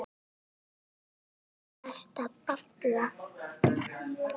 Hvað ertu að babla?